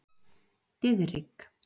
Diðrik